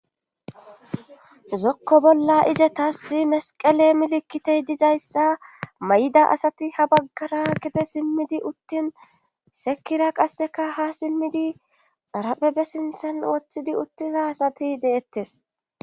zokko bolla izetaasi mesqele milikitey dizayssa may'da asati ha baggara gedde simmidi uttin seekkira qasseka ha simmidi xarapepbe sinthan woththidi uttiza asati deettes